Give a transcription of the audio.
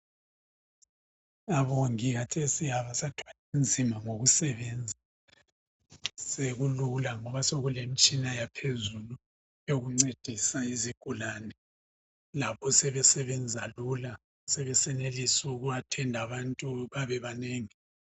Abomongi khathesi abasathwali nzima ngokusebenza sekulula ngoba sekulemtshina yaphezulu eyokuncedisa izigulane lapho sebesebenza lula sebesenelisa uku athenda abantu babebanengi.